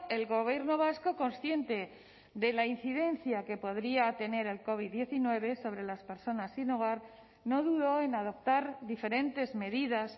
el gobierno vasco consciente de la incidencia que podría tener el covid diecinueve sobre las personas sin hogar no dudó en adoptar diferentes medidas